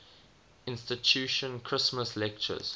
institution christmas lectures